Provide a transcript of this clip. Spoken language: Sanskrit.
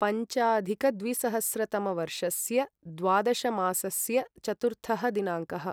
पञ्चाधिकद्विसहस्रतमवर्षस्य द्वादशमासस्य चतुर्थः दिनाङ्कः